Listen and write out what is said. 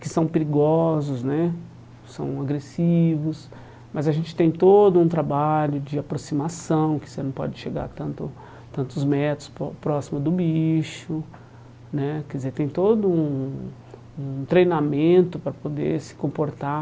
que são perigosos né, são agressivos, mas a gente tem todo um trabalho de aproximação, que você não pode chegar a tanto tantos metros pró próximo do bicho né, quer dizer tem todo um um treinamento para poder se comportar